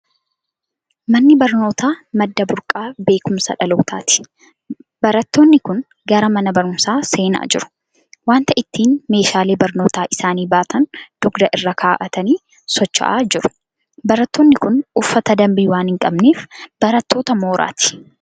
Manni barnootaa madda burqaa beekumsa dhalootaati. Barattoonni kun gara mana barumsaa seenaa jiru. Waanta ittiin meeshaalee barnootaa isaanii baatan dugda irra kaa'atanii socho'aa jiru. Barattoonni kun uffata dambii waan hin qabnee, barattoota mooraati.